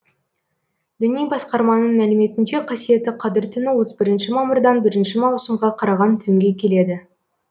діни басқарманың мәліметінше қасиетті қадір түні отыз бірінші мамырдан бірінші маусымға қараған түнге келеді